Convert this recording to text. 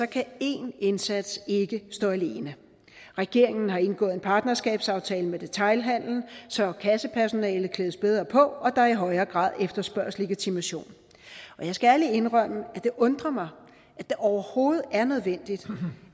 kan én indsats ikke stå alene regeringen har indgået en partnerskabsaftale med detailhandelen så kassepersonalet klædes bedre på og så der i højere grad efterspørges legitimation jeg skal ærligt indrømme at det undrer mig at det overhovedet er nødvendigt